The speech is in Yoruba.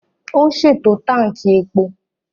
Ó ń ṣètò Tánkì epo